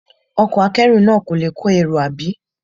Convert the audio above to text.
Ọkọ̀ akẹ́rù náà kò le kọ́ èrò, àbí?